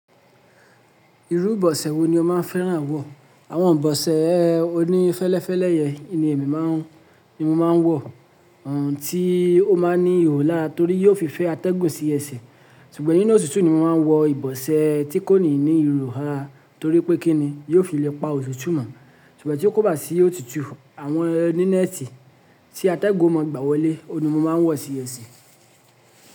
Irú ìbọ̀sẹ̀ wo ni o máa ń fẹ́ràn wọ̀? Àwọn ìbọ̀sẹ̀ oní fẹ́lẹ́fẹ́lẹ́ yẹn ni èmi máa ń, ni mo máa ń wọ, ọ̀n tí ó máa ń ní ihò lárá torí yóò fi fẹ́ atẹ́gùn sí ẹsẹ̀. Ṣùgbọ́n nínú òtútù ni mo máa ń wọ ìbọ̀sẹ̀ tí kò ní ní ihò hárà torí pé kí ni, yóò fi le pa òtútù mọ̀. Ṣùgbọ́n tí ó kóbá sí òtútù àwọn oní nẹ́ẹ̀tì tí atẹ́gùn ò mọ̀ gbà wọlé, òun ni mo máa ń wọ̀ sí ẹsẹ̀.